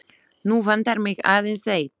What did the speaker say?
Nú vantar mig aðeins eitt!